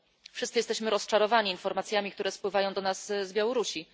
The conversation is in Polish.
Wszyscy jesteśmy rozczarowani informacjami, które spływają do nas z Białorusi.